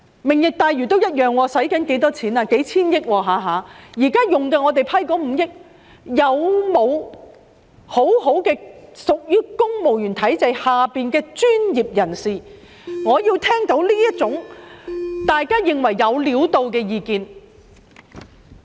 "明日大嶼願景"要花數千億元，就已批出的5億元，有否屬於公務員體制下的專業人士，提供大家認為"有料到"的意見？